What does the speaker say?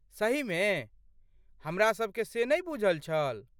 सहीमे? हमरा सबके से नै बुझल छल।